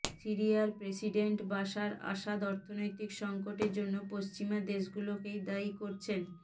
সিরিয়ার president Bashar Assad অর্থনৈতিক সংকটের জন্য পশ্চিমা দেশগুলোকেই দায়ী করছেন